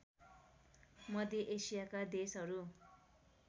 मध्य एसियाका देशहरू